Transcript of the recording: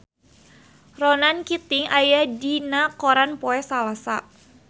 Ronan Keating aya dina koran poe Salasa